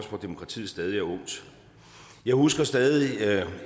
hvor demokratiet stadig er ungt jeg husker stadig